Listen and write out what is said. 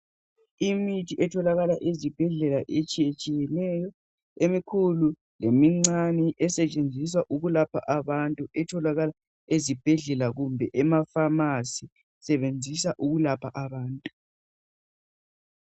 Imithi etholakala ezibhedlela etshiyetshiyeneyo. Emikhulu lemincane. Esetshenziswa ukulapha abantu. Itholakala ezibhedlela kumbe emapharnacy. Isetshenziswa ukulapha abantu.